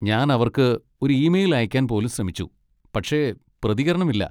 ഞാൻ അവർക്ക് ഒരു ഇമെയിൽ അയയ്ക്കാൻ പോലും ശ്രമിച്ചു, പക്ഷേ പ്രതികരണമില്ല.